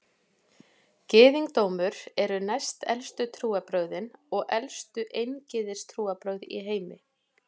Gyðingdómur eru næstelstu trúarbrögðin og elstu eingyðistrúarbrögð í heimi.